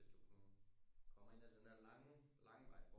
Hvis du sådan kommer ind af den der lange lange vej